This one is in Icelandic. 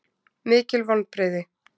Mikil vonbrigði